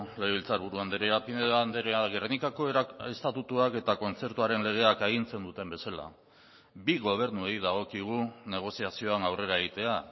legebiltzarburu andrea pinedo andrea gernikako estatutuak eta kontzertuaren legeak agintzen duten bezala bi gobernuei dagokigu negoziazioan aurrera egitea